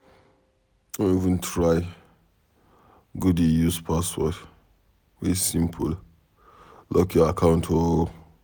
No even try go dey use password wey simple lock your account o.